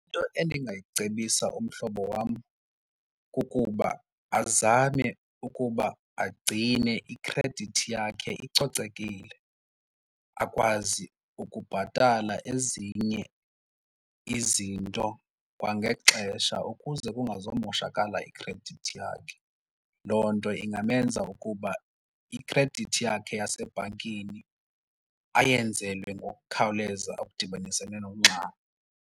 Into endingayicebisa umhlobo wam kukuba azame ukuba agcine ikhredithi yakhe icocekile akwazi ukubhatala ezinye izinto kwangexesha ukuze kungazomoshakala ikhredithi yakhe. Loo nto ingamenza ukuba ikhredithi yakhe yasebhankini ayenzelwe ngokukhawuleza okudibaniselene nokungxama.